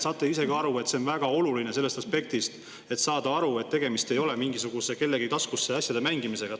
Saate ju ise ka aru, et see on väga oluline sellest aspektist, et on vaja aru saada, et tegemist ei ole mingisuguse kellegi taskusse asjade mängimisega.